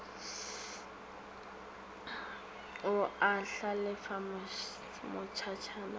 o a hlalefa matšatšana a